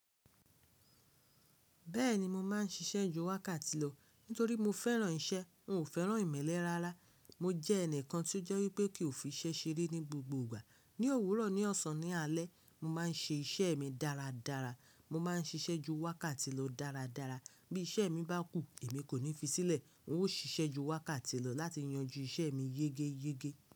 Bẹ́ẹ̀ni mo máa ń ṣiṣẹ́ ju wákàtí lọ nítorí mo fẹ́ràn iṣẹ́. N ò fẹ́ràn ìmẹ́lẹ́ rárá. Mo jẹ́ ẹnìkan tí ó jẹ́ wípé kì o fi iṣẹ́ ṣeré ní gbogbo ìgbà. Ni òwúrọ̀, ní ọ̀sán, ní alẹ́, mo máa ń ṣe iṣẹ́ mi dáradára. Mo máa ń ṣiṣẹ́ ju wákàtí lọ dáradára. Bí iṣẹ́ mi bá kù, èmi kò ní fi sílẹ̀. N ó ṣiṣẹ́ ju wákàtí lọ láti yanjú iṣẹ́ mi yege yege.